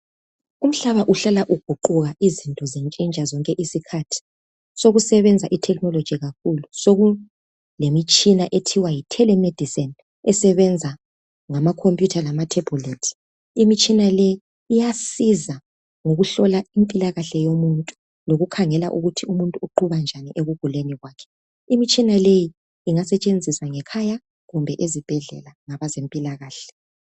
Umhlaba uhlala uguquka Izinto zitshintsha zonke izikhathi. Sekusebenza itechnology kakhulu. Sekulemitshina ethiwa yitelemedicine. Esebenza ngamacomputer, lamathebhulethi. Imitshina leyi iyasiza ukukhangela impilakahle yomuntu, lokukhangela ukuthi umuntu uqhuba njani ekuguleni kwakhe. Imitshina leyi ingasetshenziswa ngekhaya, kumbe ezibhedlela, ngabezempilakahle.